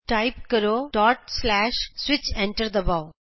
type ਕਰੋ switch enter ਦਬਾਉ